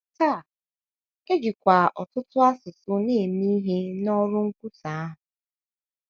Taa, e jikwa ọtụtụ asụsụ eme ihe n’ọrụ nkwusa ahụ.